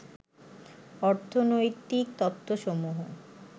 অর্থনৈতিক তত্ত্বসমুহ